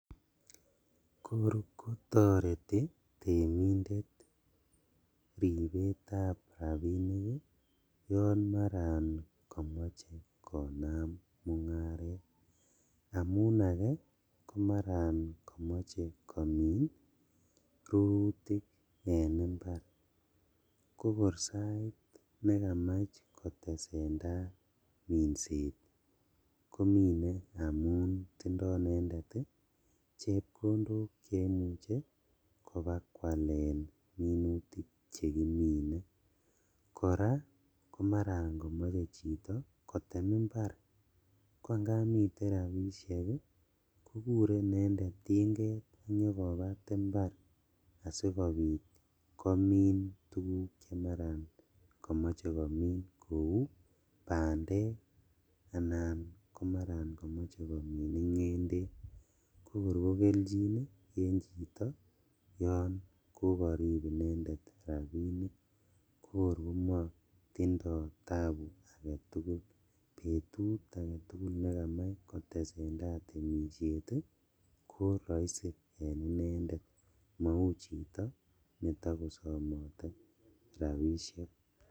Kokor kotoreti temindet ribetab rabinik ii yon komoche konam mungaret amun ake komaran komoche komin rurutik en imbar kokor sait nekamach kotesendaa minset kokor komine amun tindo inendet chepkondok cheimuche kobakwalen minutik chekimine, koraa komaran komoche chito kotem imbar ko angap miten rabishek kokure inendet tinget sinyokobat imbar asikobit komin tuguk che maran komoche komin kou bandek anan komaran komoche komin ingendek kokor kokeljin en chito yon kokorib inendet rabinik kokor komotindo tabu aketugul, betut aketugul nekamach kotesendaa temishet ii koroisi en inendet mou chito netokosomote rabishek.